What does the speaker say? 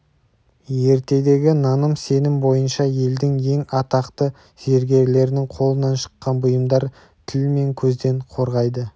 ертедегі наным-сенім бойынша елдің ең атақты зергерлерінің қолынан шыққан бұйымдар тіл мен көзден қорғайды